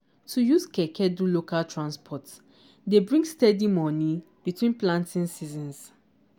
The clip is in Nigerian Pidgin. to use keke do local transport dey bring steady moni between planting seasons.